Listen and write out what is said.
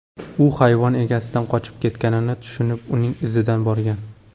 U hayvon egasidan qochib ketganini tushunib, uning izidan borgan.